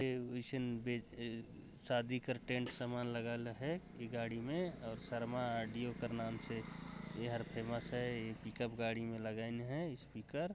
ऐ उइशन बेस अअअअ शादी कर टेंट सामान लगाइल हे ई गाडी में और शर्मा ओडियो कर नाम से ईहर फेमस हे ई पिकअप गाडी में लागइन हे स्पीकर ।